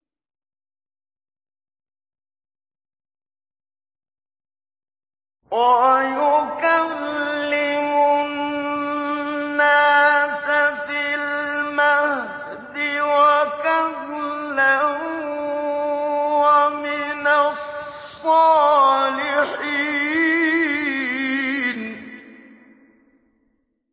وَيُكَلِّمُ النَّاسَ فِي الْمَهْدِ وَكَهْلًا وَمِنَ الصَّالِحِينَ